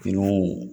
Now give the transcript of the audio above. Finiw